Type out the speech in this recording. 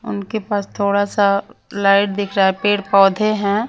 उनके पास थोड़ा सा लाइट दिख रहा है पेड़ पौधे हैं।